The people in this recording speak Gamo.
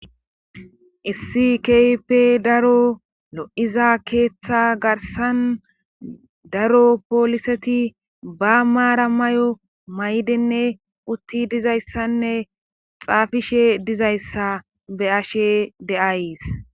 Issi keype daro lo'iza keeththa garsan daro pooliseti ba maara may'o may'denne utti dizayssanne xaafishe dizayssa be ashe deays.